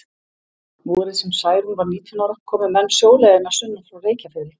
Vorið sem Særún var nítján ára komu menn sjóleiðina sunnan frá Reykjafirði.